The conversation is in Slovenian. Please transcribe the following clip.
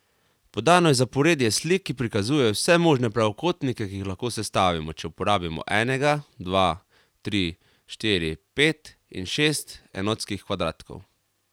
Podano je zaporedje slik, ki prikazujejo vse možne pravokotnike, ki jih lahko sestavimo, če uporabimo enega, dva, tri, štiri, pet in šest enotskih kvadratkov.